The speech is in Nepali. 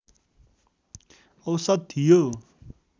औसत थियो